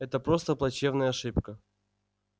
это просто плачевная ошибка